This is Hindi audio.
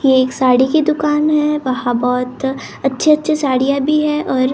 ये एक साड़ी की दुकान हैं वहां बहुत अच्छी अच्छी साड़ियां भी हैं और सा।